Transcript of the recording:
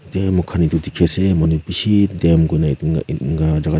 yata mokhan dekhi ase manu bishi dam kuna unnin kena jagha.